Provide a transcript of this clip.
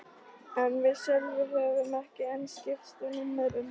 En við Sölvi höfðum ekki enn skipst á númerum.